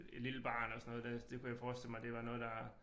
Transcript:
Et lille barn og sådan noget der det kunne jeg forestille mig det var noget der